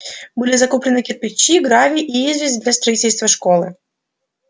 были закуплены кирпичи гравий и известь для строительства школы